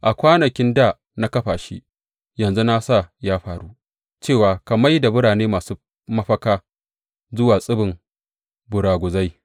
A kwanakin dā na kafa shi; yanzu na sa ya faru, cewa ka mai da birane masu mafaka zuwa tsibin ɓuraguzai.